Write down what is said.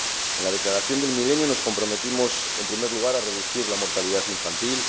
En la Declaración del Milenio nos comprometimos, en primer lugar, a reducir la mortalidad infantil